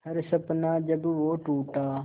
हर सपना जब वो टूटा